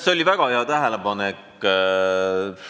See oli väga hea tähelepanek!